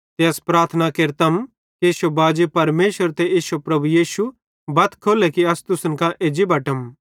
ते अस प्रार्थना केरतम कि इश्शो बाजी परमेशर ते इश्शे प्रभु यीशु बत खोल्ले कि अस तुसन कां एज्जी बटम